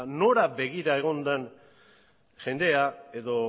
nora begira egon den jendea edo